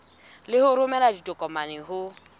le ho romela ditokomane ho